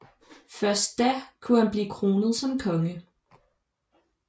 Først da kunne han blive kronet som konge